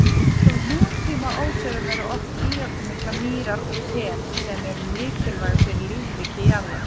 Á nútíma óseyrum eru oft víðáttumiklar mýrar og fen, sem eru mikilvæg fyrir lífríki jarðar.